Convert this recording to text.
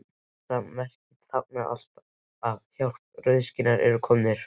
Þetta merki táknaði alltaf: Hjálp, rauðskinnarnir eru komnir